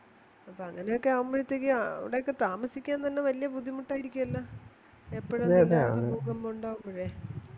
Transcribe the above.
അപ്പൊ അങ്ങനെയൊക്ക ആവുമ്പഴ്ത്തെക്ക് അവിടെയൊക്കെ താമസിക്കാൻ തന്നെ വലിയ ബുദ്ധിമുട്ടായിരിക്കുവല്ലോ എപ്പഴും ഭൂകമ്പം ഉണ്ടകുമ്പഴേ